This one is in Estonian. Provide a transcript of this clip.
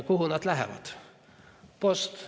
Kuhu nad lähevad?